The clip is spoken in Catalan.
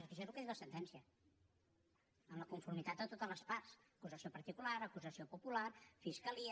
és que això és el que diu la sentència amb la conformitat de totes les parts acusació particular acusació popular fiscalia